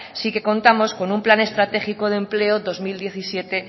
sí que contamos con un plan estratégico de empleo dos mil diecisiete